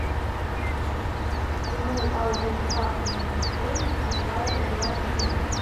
игру аудиосказки для детей давай играть в